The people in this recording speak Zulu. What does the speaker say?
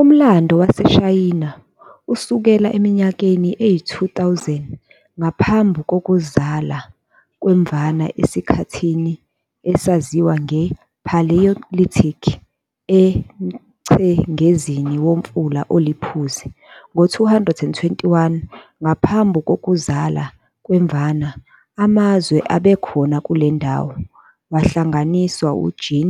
Umlando waseShayina usukela eminyakeni eyi-2000 ngaphambu kokuzala kweMvana esikhathini esaziwa nge-"Paleolithic" emchengezini womfula oliPhuzi. Ngo-221 ngaphambu kokuzala kweMvana, amazwe ebekhona kuleyondawo wahlanganiswa uQin